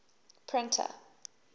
printer